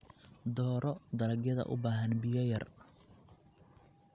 Dooro dalagyada u baahan biyo yar.